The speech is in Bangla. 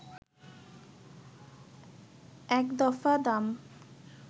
এক দফা দাম